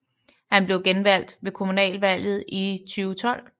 Han blev genvalgt ved kommunalvalget i 2012